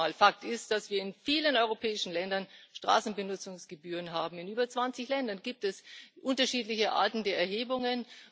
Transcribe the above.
Aber nochmal Fakt ist, dass wir in vielen europäischen Ländern Straßenbenutzungsgebühren haben, in über 20 Ländern gibt es unterschiedliche Arten der Erhebungen.